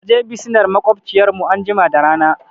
Kaje bisinar maƙwabciyar mu anjima da rana